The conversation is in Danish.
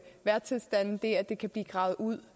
vejrtilstande det at det kan blive gravet ud